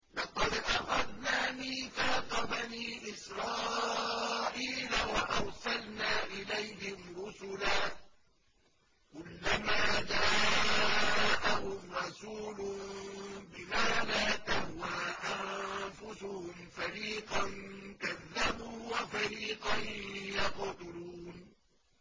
لَقَدْ أَخَذْنَا مِيثَاقَ بَنِي إِسْرَائِيلَ وَأَرْسَلْنَا إِلَيْهِمْ رُسُلًا ۖ كُلَّمَا جَاءَهُمْ رَسُولٌ بِمَا لَا تَهْوَىٰ أَنفُسُهُمْ فَرِيقًا كَذَّبُوا وَفَرِيقًا يَقْتُلُونَ